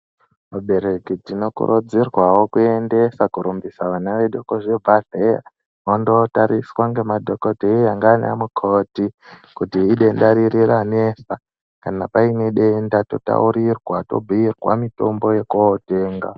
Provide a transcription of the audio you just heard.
Vabereki tinokurudzirwawo kuendesa kurumbisa vana vedu kuzvibhedhleya vondootariswa ngemadhokodheya ndiana mukoti kuti idenda riri ranesa kana paine denda totaurirwa tobhuirwa mitombo yekootenga.